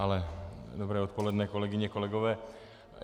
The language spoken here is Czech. Ale dobré odpoledne, kolegyně, kolegové.